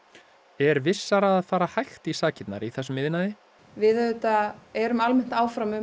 er vissara að fara hægt í sakirnar í þessum iðnaði við auðvitað erum almennt áfram um